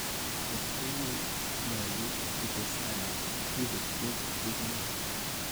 Tes ko u ye nyolu ites anan ibus tuguk che kindo.